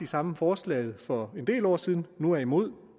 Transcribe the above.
samme forslag for en del år siden nu er imod